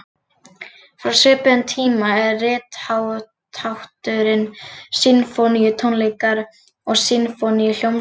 Frá svipuðum tíma er rithátturinn sinfóníutónleikar og sinfóníuhljómsveit.